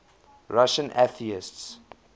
russian atheists